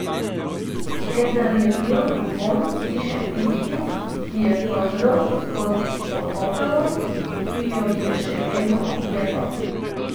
Vendar je bil vonj hiše tisti, ki je prodrl skozi otopelost, ki jo je še vedno oklepala.